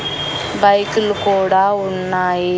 బైకులు కూడా ఉన్నాయి.